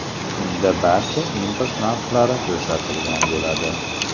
Unda barcha import narxlari ko‘rsatilgan bo‘ladi.